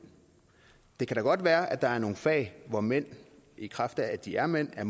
det kan da godt være at der er nogle fag hvor mænd i kraft af at de er mænd er